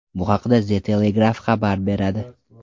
Bu haqda The Telegraph xabar beradi .